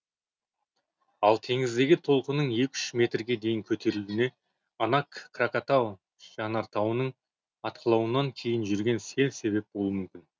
ал теңіздегі толқынның екі үш метрге дейін көтерілуіне анак кракатау жанартауының атқылауынан кейін жүрген сел себеп болуы мүмкін